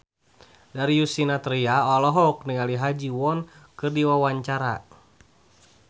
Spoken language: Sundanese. Darius Sinathrya olohok ningali Ha Ji Won keur diwawancara